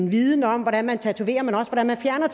viden om hvordan man tatoverer men også hvordan man fjerner